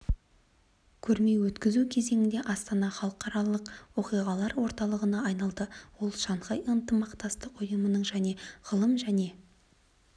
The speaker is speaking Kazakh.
көрме өткізу кезеңінде астана халықаралық оқиғалар орталығына айналды ол шанхай ынтымақтастық ұйымының және ғылым және